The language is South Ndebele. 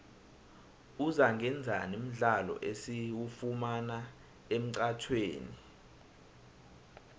uzangaenzani mdlalo esiwufumana emxhatjhweni